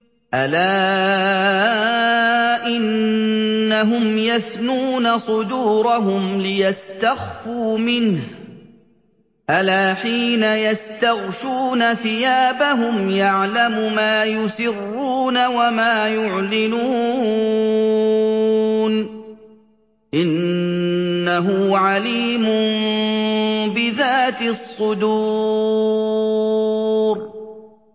أَلَا إِنَّهُمْ يَثْنُونَ صُدُورَهُمْ لِيَسْتَخْفُوا مِنْهُ ۚ أَلَا حِينَ يَسْتَغْشُونَ ثِيَابَهُمْ يَعْلَمُ مَا يُسِرُّونَ وَمَا يُعْلِنُونَ ۚ إِنَّهُ عَلِيمٌ بِذَاتِ الصُّدُورِ